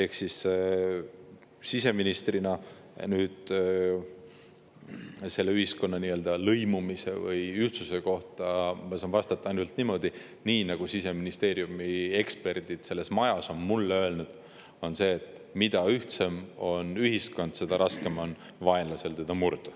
Siseministrina saan ma ühiskonna lõimumise või ühtsuse kohta öelda ainult niimoodi, nagu Siseministeeriumi eksperdid meie majas on mulle öelnud: mida ühtsem on ühiskond, seda raskem on vaenlasel meid murda.